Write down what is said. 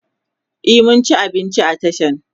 e mun ci abinci a tashan